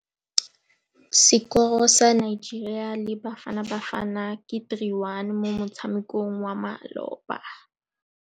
Sekôrô sa Nigeria le Bafanabafana ke 3-1 mo motshamekong wa malôba.